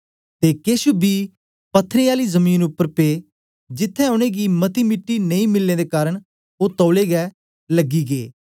ते केछ बी पत्थरें आली जमीन उपर पे जिथें उनेंगी मती मिट्टी नेई मिलने दे कारन ओ तौलै गै लग्गी गै